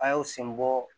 A' y'o sen bɔ